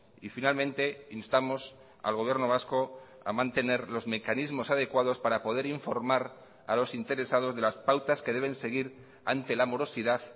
y finalmente instamos al gobierno vasco a mantener los mecanismos adecuados para poder informar a los interesados de las pautas que deben seguir ante la morosidad